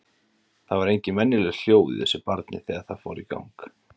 Það voru engin venjuleg hljóð í þessu barni þegar það fór í gang.